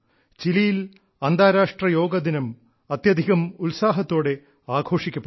ചിലിയിൽ അന്താരാഷ്ട്ര യോഗാദിനം അത്യധികം ഉത്സാഹത്തോടെ ആഘോഷിക്കപ്പെടുന്നു